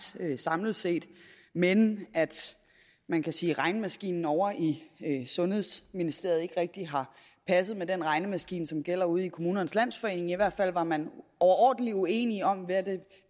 samlet set men man kan sige at regnemaskinen ovre i sundhedsministeriet ikke rigtig har passet med den regnemaskine som gælder ude i kommunernes landsforening i hvert fald var man overordentlig uenige om hvad det